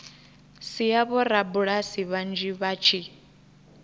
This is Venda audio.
sia vhorabulasi vhanzhi vha tshi